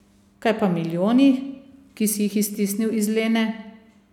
Kaj pa milijoni, ki si jih iztisnil iz Lene?